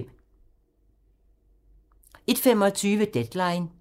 01:25: Deadline